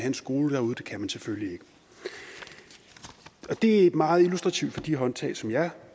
en skole derude det kan man selvfølgelig ikke det er meget illustrativt for de håndtag som jeg